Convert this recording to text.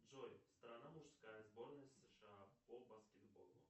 джой страна мужская сборная сша по баскетболу